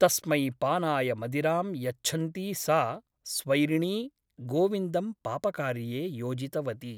तस्मै पानाय मदिरां यच्छन्ती सा स्वैरिणी गोविन्दं पापकार्ये योजितवती ।